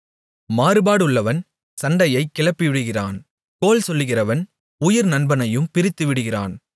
மாறுபாடுள்ளவன் சண்டையைக் கிளப்பிவிடுகிறான் கோள் சொல்லுகிறவன் உயிர் நண்பனையும் பிரித்துவிடுகிறான்